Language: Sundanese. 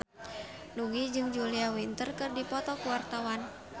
Nugie jeung Julia Winter keur dipoto ku wartawan